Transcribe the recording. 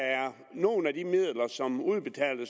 at nogle af de midler som